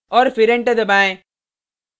और फिर एंटर दबाएँ